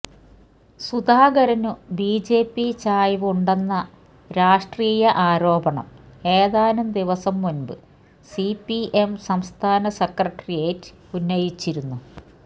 സുധാകരനു BJP ചായ്വ് ഉണ്ടെന്ന രാഷ്ട്രീയ ആരോപണം ഏതാനും ദിവസം മുൻപ് സിപിഎം സംസ്ഥാന സെക്രട്ടേറിയറ്റ് ഉന്നയിച്ചിരുന്നു